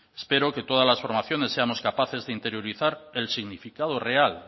espero que todas las formaciones seamos capaces de interiorizar el significado real